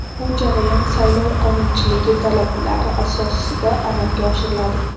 Bu jarayon saylov qonunchiligi talablari asosida amalga oshiriladi.